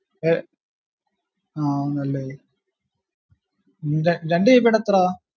ഏർ ആ ന്നല്ലേ ര രണ്ട് gb ടെ എത്ര